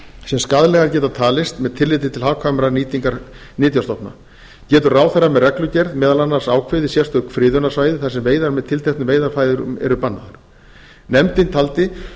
sem skaðlegar geta talist með tilliti til hagkvæmrar nýtingar nytjastofna getur ráðherra með reglugerð meðal annars ákveðið sérstök friðunarsvæði þar sem veiðar með tilteknum veiðarfærum eru bannaðar nefndin taldi